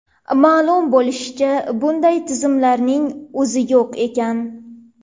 Ma’lum bo‘lishicha, bunday tizimlarning o‘zi yo‘q ekan!